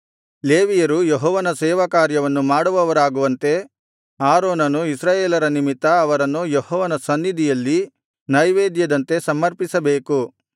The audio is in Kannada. ಲೇವಿಯರು ಯೆಹೋವನ ಸೇವಾಕಾರ್ಯವನ್ನು ಮಾಡುವವರಾಗುವಂತೆ ಆರೋನನು ಇಸ್ರಾಯೇಲರ ನಿಮಿತ್ತ ಅವರನ್ನು ಯೆಹೋವನ ಸನ್ನಿಧಿಯಲ್ಲಿ ನೈವೇದ್ಯದಂತೆ ಸಮರ್ಪಿಸಬೇಕು